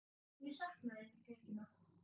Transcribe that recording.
Ég sakna þín, þín Regína.